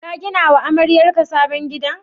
Ka gina wa amaryarka sabon gida?